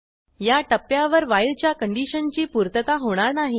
या टप्प्यावर व्हाईल च्या कंडिशनची पूर्तता होणार नाही